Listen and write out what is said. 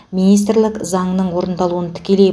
министірлік заңның орындалуын тікелей